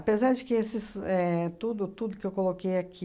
de que esse éh tudo tudo que eu coloquei aqui